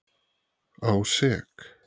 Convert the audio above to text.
á sek.